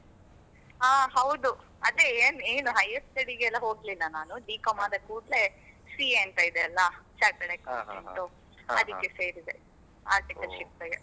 ಹಾ ಹೌದು, ಅದೇ ಏನ್ ಏನ್ higher study ಗೆಲ್ಲ ಹೋಗ್ಲಿಲ್ಲ ನಾನು B.com ಆದಾ ಕೂಡ್ಲೆ CA ಅಂತ ಇದೆ ಅಲ್ಲ Chartered Accountant ಉ ಅದಕ್ಕೆ ಸೇರಿದೆ articleship ಗೆ .